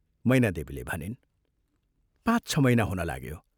" मैनादेवीले भनिन्, "पाँच छ महीना हुन लाग्यो।